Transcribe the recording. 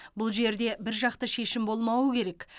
бұл жерде біржақты шешім болмауы керек